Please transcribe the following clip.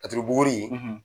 Laturu buguri;